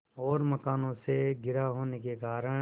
और मकानों से घिरा होने के कारण